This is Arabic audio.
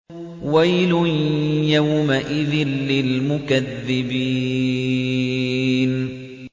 وَيْلٌ يَوْمَئِذٍ لِّلْمُكَذِّبِينَ